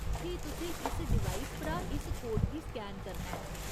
फ्ही तुसें इस डिवाइस परा इस कोड गी स्कैन करना ऐ।